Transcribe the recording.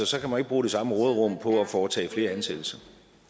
så kan man ikke bruge det samme råderum på at foretage flere ansættelser